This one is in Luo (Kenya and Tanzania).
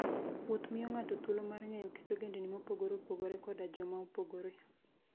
Wuoth miyo ng'ato thuolo mar ng'eyo kit ogendini mopogore opogore koda joma opogore.